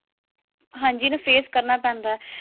ਹਾਂਜੀ ਇਹ ਤਾਂ face ਕਰਨਾ ਪੈਂਦਾ